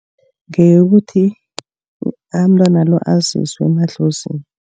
Ngeyokuthi umntwana lo aziswe emadlozini.